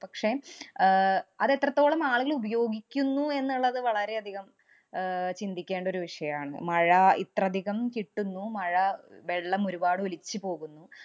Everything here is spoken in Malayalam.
പക്ഷേ, അഹ് അതെത്രത്തോളം ആളുകള്‍ ഉപയോഗിക്കുന്നു എന്നുള്ളത് വളരെയധികം അഹ് ചിന്തിക്കേണ്ട ഒരു വിഷയാണ്. മഴ ഇത്രധികം കിട്ടുന്നു, മഴ വെള്ളം ഒരുപാട് ഒലിച്ചു പോകുന്നു.